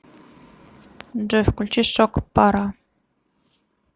джой включи шок пара